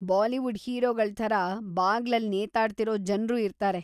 Bollywood ಹೀರೋಗಳ್‌ ಥರಾ ಬಾಗ್ಲಲ್ಲಿ ನೇತಾಡ್ತಿರೋ ಜನ್ರು ಇರ್ತಾರೆ.